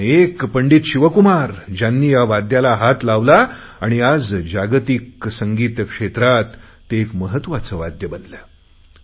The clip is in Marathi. पण पंडित शिवकुमार ज्यांनी या वाद्याला हात लावला आणि आज जागतिक संगीत क्षेत्रात ते एक महत्त्वाचे वाद्य बनले